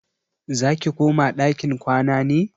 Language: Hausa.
Zaki koma ɗakin kwana ne?